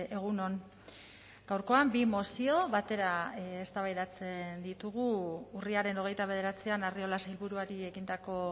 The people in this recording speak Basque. egun on gaurkoan bi mozio batera eztabaidatzen ditugu urriaren hogeita bederatzian arriola sailburuari egindako